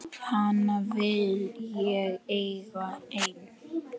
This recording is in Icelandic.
Hana vil ég eiga ein.